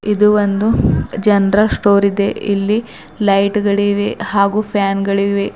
ಇದು ಒಂದು general store ಇದೆ ಇಲ್ಲಿ ಲೈಟ್ ಗಳಿವೆ ಹಾಗು ಫ್ಯಾನ್ ಗಳಿವೆ.